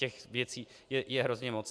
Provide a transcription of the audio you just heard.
Těch věcí je hrozně moc.